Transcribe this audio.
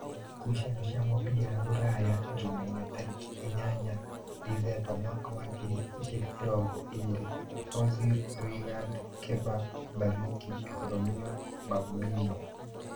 Ngucanio cia mũbira Rūraya Jumaine tarĩki inyanya Ndithemba mwaka wa ngiri igĩrĩ na mĩrongo ĩrĩ: Ozi, Rigad, Keba, Bathiki, Romio, Bambino